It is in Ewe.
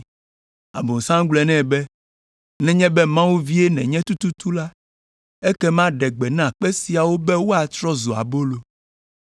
Abosam gblɔ nɛ be, “Nenye be Mawu vie nenye tututu la, ekema ɖe gbe na kpe siawo be woatrɔ zu abolo.”